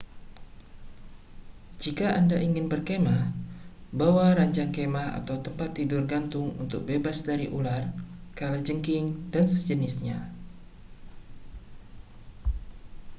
jika anda ingin berkemah bawa ranjang kemah atau tempat tidur gantung untuk bebas dari ular kalajengking dan sejenisnya